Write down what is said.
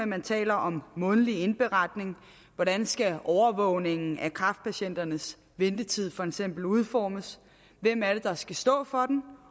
man taler om en månedlig indberetning hvordan skal overvågningen af kræftpatienternes ventetid for eksempel udformes hvem er det der skal stå for den